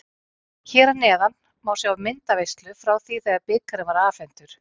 Hér að neðan má sjá myndaveislu frá því þegar bikarinn var afhentur.